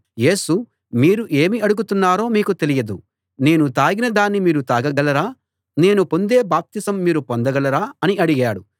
యేసు మీరు ఏమి అడుగుతున్నారో మీకు తెలియదు నేను తాగిన దాన్ని మీరు తాగగలరా నేను పొందే బాప్తిసం మీరు పొందగలరా అని అడిగాడు